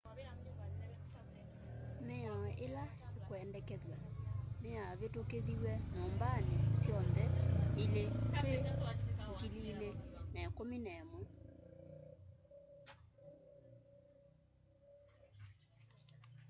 miao ila ikwendekethwa niyavitukithiwe nyumbani syonthe ili twi 2011